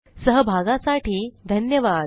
सहभागासाठी धन्यवाद